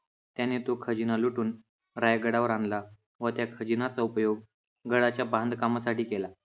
त्याने तो खजिना लुटून रायगडावर आणला व त्या खजिन्याचा उपयोग गडाच्या बांधकामासाठी केला.